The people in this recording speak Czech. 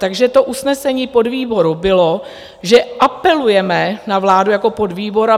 Takže to usnesení podvýboru bylo, že apelujeme na vládu jako podvýbor.